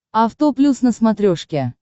авто плюс на смотрешке